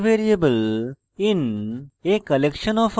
for variable in a collection of objects